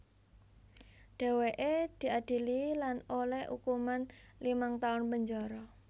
Dhèwèké diadili lan olèh ukuman limang taun penjara